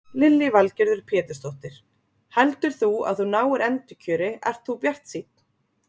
Lillý Valgerður Pétursdóttir: Heldur þú að þú náir endurkjöri, ert þú bjartsýnn?